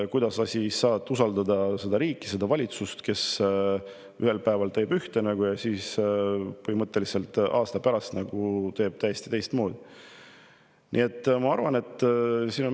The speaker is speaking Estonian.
Kuidas on võimalik usaldada sellist riiki, sellist valitsust, kes ühel päeval teeb ühtemoodi ja siis aasta pärast täiesti teistmoodi?